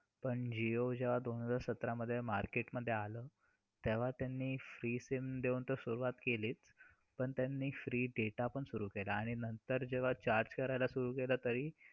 नऊ महिने पोटात ठेवून आपल्या पहिल्या श्वासापर्यंत वेदना सहन करते ती आई. आपल्या रक्तातील अजून दुसऱ्या घरी नांदायला जाते.